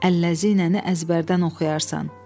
Əlləzi nənəni əzbərdən oxuyarsan.